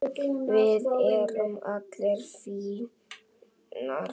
Við erum allar fínar